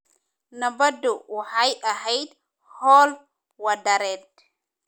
Nabaddu waxay ahayd hawl wadareed.